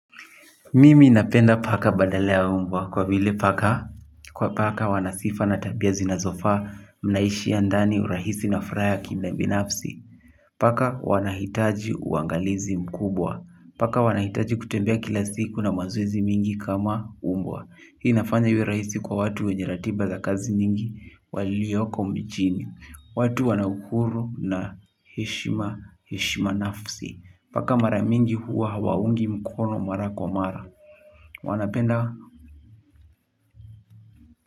Mimi ninapenda paka badala ya mbwa kwa vile paka kwa paka wanasifa na tabia zinazofaa mnaishi ya ndani urahisi na fraya kina binafsi. Paka wanahitaji uangalizi mkubwa. Paka wanahitaji kutembea kila siku na mazoezi mingi kama mbwa. Hii nafanya iwe rahisi kwa watu wenye ratiba za kazi nyingi walioko mjini. Watu wanauhuru na heshima heshima nafsi. Paka mara mingi huwa hawaungi mkono mara kwa mara. Wana penda.